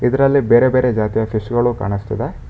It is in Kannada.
ಇದರಲ್ಲಿ ಬೇರೆ ಬೇರೆ ಜಾತಿಯ ಫಿಶ್ ಗಳು ಕಾಣಸ್ತಿದೆ.